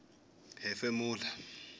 hefemulela